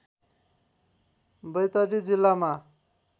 बैतडी जिल्लामा